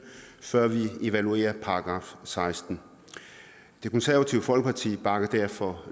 før vi evaluerer § sekstende det konservative folkeparti bakker derfor